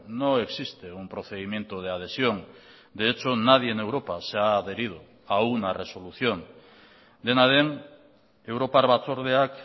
no existe un procedimiento de adhesión de hecho nadie en europa se ha adherido a una resolución dena den europar batzordeak